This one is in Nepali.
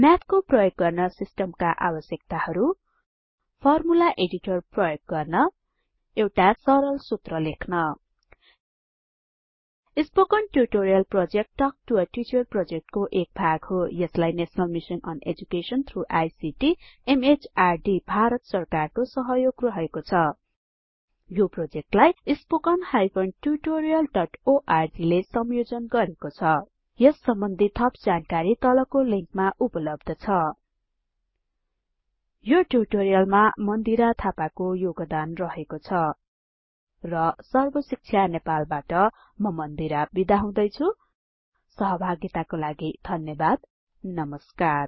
म्याथको प्रयोग गर्न सिस्टमका आवश्यकताहरु फर्मुला एडिटर प्रयोग गर्न एउटा सरल सुत्र लेख्न spoken tutorial project talk to a teacher प्रोजेक्टको एक भाग हो यसलाई national mission on education through ICT MHRD Bharat सरकारको सहयोग रहेको छ यो प्रोजेक्टलाई httpspoken tutorialorg ले संयोजन गरेको छ यस सम्बन्धि थप जानकारी तलको लिंकमा उपलब्ध छ यो ट्युटोरियलमा मन्दिरा थापाको योगदान रहेको छ र सर्बशिक्षा नेपालबाट म मन्दिरा बिदा हुदैछुँ सहभागिताको लागि धन्यबाद नमस्कार